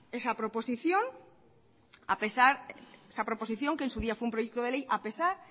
esa proposición que en su día fue un proyecto de ley a pesar